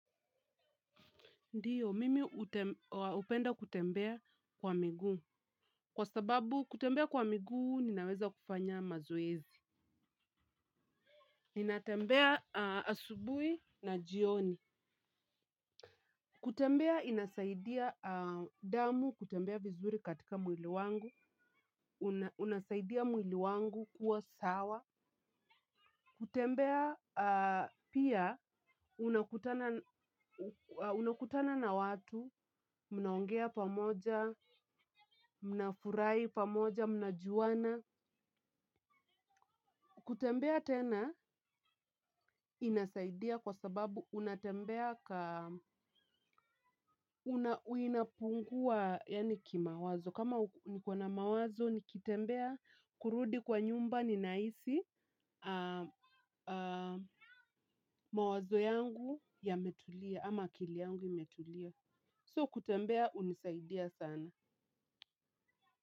Ndiyo, mimi hupenda kutembea kwa miguu. Kwa sababu, kutembea kwa miguu, ninaweza kufanya mazoezi. Ninatembea asubuhi na jioni. Kutembea inasaidia damu, kutembea vizuri katika mwili wangu, unasaidia mwili wangu kuwa sawa. Kutembea pia unakutana na watu, mnaongea pamoja, mnafurahi pamoja, mnajuana. Kutembea tena inasaidia kwa sababu unatembea unapungua kimawazo. Kama niko na mawazo nikitembea kurudi kwa nyumba ninahisi mawazo yangu yametulia ama akili yangu imetulia. So kutembea hunisaidia sana.